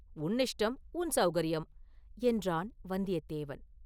உன் இஷ்டம், உன் சௌகரியம்” என்றான் வந்தியத்தேவன்.